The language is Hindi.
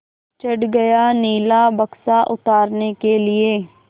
चढ़ गया नीला बक्सा उतारने के लिए